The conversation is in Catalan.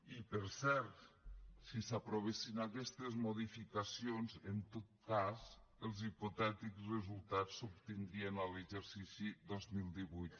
i per cert si s’aprovessin aquestes modificacions en tot cas els hipotètics resultats s’obtindrien a l’exercici dos mil divuit